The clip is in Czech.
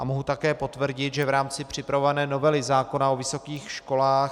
A mohu také potvrdit, že v rámci připravované novely zákona o vysokých školách